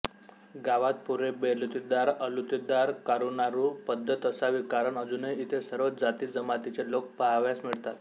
गावात पूर्वी बलुतेदार अलुतेदार कारूनारू पद्दत असावी कारण अजूनही इथे सर्व जातीजमातीचे लोक पहावयास मिळतात